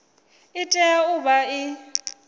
i tea u vha i